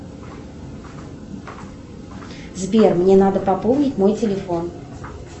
сбер мне надо пополнить мой телефон